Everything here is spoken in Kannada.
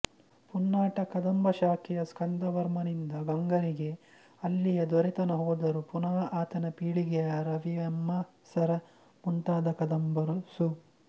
ಪುನ್ನಾಟ ಕದಂಬ ಶಾಖೆಯ ಸ್ಕಂದವರ್ಮನಿಂದ ಗಂಗರಿಗೆ ಅಲ್ಲಿಯ ದೊರೆತನ ಹೋದರೂ ಪುನಃ ಆತನ ಪೀಳಿಗೆಯ ರವಿಯಮ್ಮರಸ ಮುಂತಾದ ಕದಂಬರು ಸು